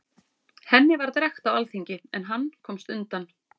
Henni var drekkt á alþingi, en hann komst undan.